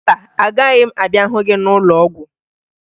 Mba, agaghị m abịa hụ gị n'ụlọọgwụ